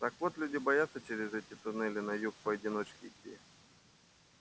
так вот люди боятся через эти туннели на юг поодиночке идти